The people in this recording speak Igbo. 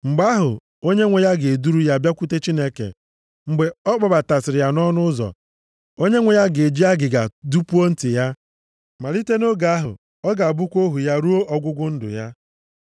mgbe ahụ, onyenwe ya ga-eduru ya bịakwute Chineke. Mgbe ọ kpọbatasịrị ya nʼọnụ ụzọ, onyenwe ya ga-eji agịga dupuo ntị ya. + 21:6 Otu omenaala ndị ala Siria na mba niile bi ha gburugburu na-eme, bụ iji agịga dupuo mmadụ ntị. Mgbe a dụpuru mmadụ ntị, o na-egosipụta na onye dị otu a bụ ohu onye ọzọ. Malite nʼoge ahụ, ọ ga-abụkwa ohu ya ruo ọgwụgwụ ndụ ya.